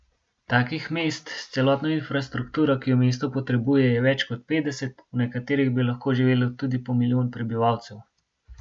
Takih mest s celotno infrastrukturo, ki jo mesto potrebuje, je več kot petdeset, v nekaterih bi lahko živelo tudi po milijon prebivalcev.